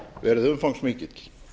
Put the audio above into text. verið umfangsmikill